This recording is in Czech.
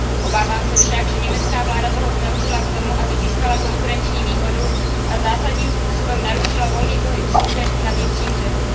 Obávám se však, že německá vláda toho zneužila k tomu, aby získala konkurenční výhodu a zásadním způsobem narušila volný pohyb služeb na vnitřním trhu.